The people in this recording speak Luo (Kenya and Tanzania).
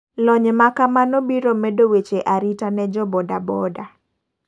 Lony makamano biro medo weche arita no jo boda boda.